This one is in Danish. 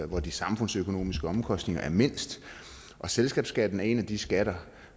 hvor de samfundsøkonomiske omkostninger er mindst selskabsskatten er en af de skatter